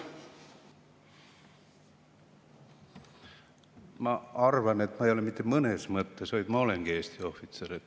Ma arvan, et ma ei ole mitte mõnes mõttes, vaid ma olen Eesti ohvitser.